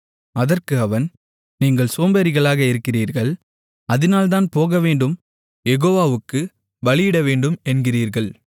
அதற்கு அவன் நீங்கள் சோம்பேறிகளாக இருக்கிறீர்கள் அதினால்தான் போகவேண்டும் யெகோவாவுக்குப் பலியிடவேண்டும் என்கிறீர்கள்